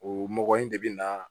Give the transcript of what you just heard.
O mɔgɔ in de bɛ na